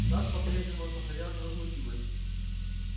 сатт по-прежнему сохранял невозмутимость